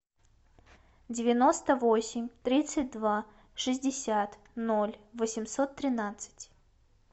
девяносто восемь тридцать два шестьдесят ноль восемьсот тринадцать